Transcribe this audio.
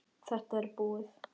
Þetta er búið.